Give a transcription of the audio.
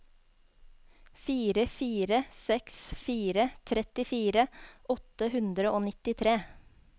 fire fire seks fire trettifire åtte hundre og nittitre